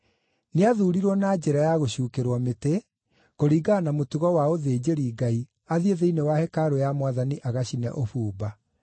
nĩathuurirwo na njĩra ya gũcuukĩrwo mĩtĩ, kũringana na mũtugo wa ũthĩnjĩri-Ngai, athiĩ thĩinĩ wa hekarũ ya Mwathani agacine ũbumba.